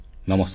ନମସ୍କାର